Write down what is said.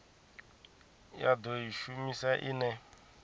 ya do i shumisa ine